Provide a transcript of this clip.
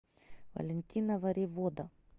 валентина варивода